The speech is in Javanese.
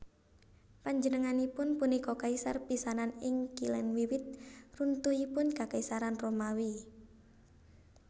Panjenenganipun punika kaisar pisanan ing Kilèn wiwit runtuhipun Kakaisaran Romawi